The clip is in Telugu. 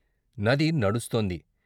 నది నడుస్తోంది.